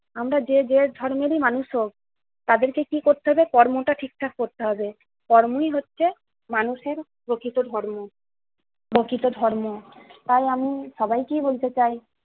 আমরা যে যে ধর্মেরই মানুষ হোক, তাদেরকে কি করতে হবে কর্মটা ঠিকঠাক করতে হবে। কর্মই হচ্ছে মানুষের প্রকৃত ধর্ম। বাকি তো ধর্ম। তাই আমি সবাইকেই বলতে চাই